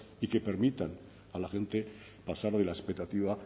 y que permitan a la gente pasar de la expectativa